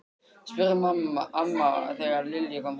spurði amma þegar Lilla kom heim.